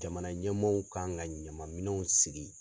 Jamana ɲɛmɔɔw kan ka ɲama minɛw sigi.